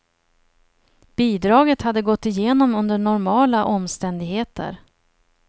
Bidraget hade gått igenom under normala omständigheter.